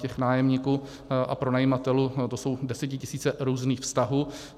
Těch nájemníků a pronajímatelů, to jsou desetitisíce různých vztahů.